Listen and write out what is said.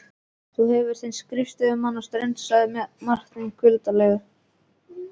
Þú hefur þinn skriftaföður á Strönd, sagði Marteinn kuldalega.